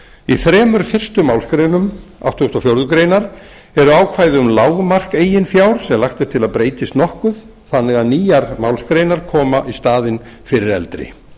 í þremur fyrstu málsgreinum áttugasta og fjórðu grein eru ákvæði um lágmark eigin fjár sem lagt er til að breytist nokkuð þannig að nýjar málsgreinar koma í staðinn fyrir eldri